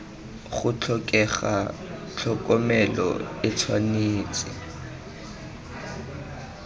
go tlhokega tlhokomelo e tshwanetse